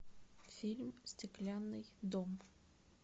фильм стеклянный дом